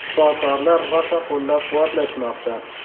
Shifokorlar rosa qo‘llab-quvvatlashmoqda.